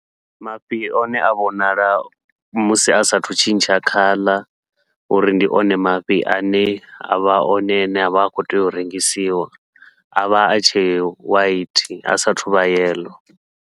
Mafhi one a vhonala musi a saathu tshintsha khaḽa, uri ndi one mafhi ane avha one ane avha a khou tea u rengisiwa avha a tshe white a sathu vha yellow.